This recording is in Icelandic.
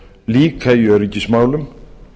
líka í öryggismálum